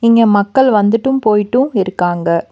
இங்க மக்கள் வந்துட்டும் போயிட்டும் இருக்காங்க.